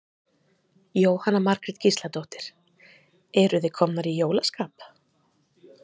Jóhanna Margrét Gísladóttir: Eruð þið komnar í jólaskap?